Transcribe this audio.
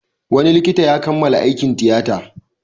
Wani likita ya kammala aikin tiyata.